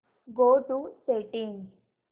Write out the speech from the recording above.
go to settings